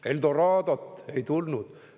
Eldoradot ei tulnud.